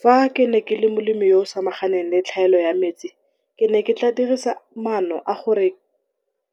Fa ke ne ke le molimi o le tlhaelo ya metsi ke ke tla dirisa maano a gore